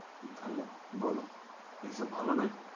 তাহলে বলো এসব ভালো নাকি?